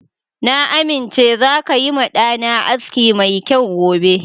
Na amince zaka yi ma ɗa na aski mai kyau gobe.